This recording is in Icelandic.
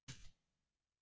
Sofðu rótt, elsku frænka.